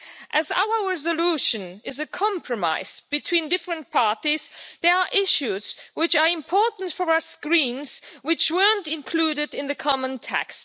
As our resolution is a compromise between different parties, there are issues which are important for us Greens which weren't included in the common text.